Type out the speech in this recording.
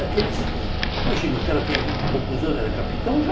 Daqueles... Imagina, o cara tinha vinte e poucos anos, era capitão já.